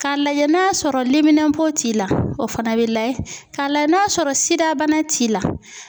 K'a lajɛ n'a sɔrɔ liminɛnpo t'i la o fana bɛ lajɛ k'a lajɛ n'a sɔrɔ SIDA bana t'i la.